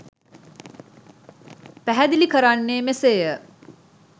පැහැදිලි කරන්නේ මෙසේය.